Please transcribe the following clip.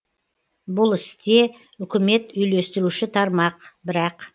бұл істе үкімет үйлестіруші тармақ бірақ